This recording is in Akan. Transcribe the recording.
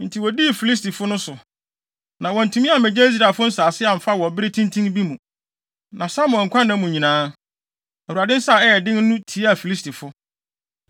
Enti wodii Filistifo no so, na wɔantumi ammegye Israelfo nsase amfa wɔ bere tenten bi mu. Na Samuel nkwa nna mu nyinaa, Awurade nsa a ɛyɛ den no tiaa Filistifo.